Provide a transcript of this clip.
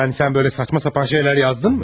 Yəni sən belə saçma sapan şeylər yazdınmı?